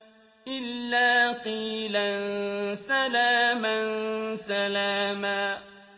إِلَّا قِيلًا سَلَامًا سَلَامًا